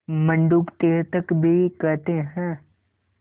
मंडूक तीर्थक भी कहते हैं